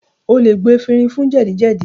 O lè gbo efinrin fún jẹ́dì-jẹ́dì